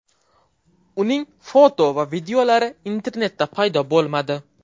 Uning foto va videolari internetda paydo bo‘lmadi.